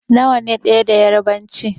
Nawa ne ɗaya da yarbanci?